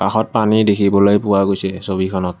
কাষত পানী দেখিবলৈ পোৱা গৈছে ছবিখনত।